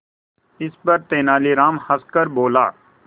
इस पर तेनालीराम हंसकर बोला